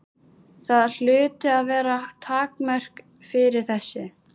Það hlutu að vera takmörk fyrir þessu.